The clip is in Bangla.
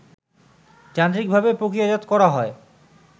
যান্ত্রিকভাবে প্রক্রিয়াজাত করা হয়